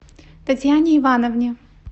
татьяне ивановне